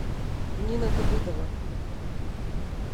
нина давыдова